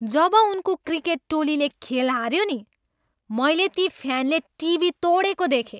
जब उनको क्रिकेट टोलीले खेल हाऱ्यो नि, मैले ती फ्यानले टिभी तोडेको देखेँ।